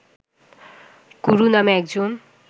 কুরু নামে একজন